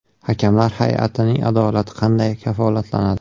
Hakamlar hay’atining adolati qanday kafolatlanadi?